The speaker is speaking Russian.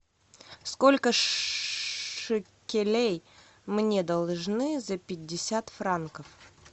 сколько шекелей мне должны за пятьдесят франков